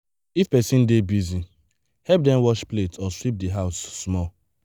if person dey busy help dem wash plate or sweep the house small.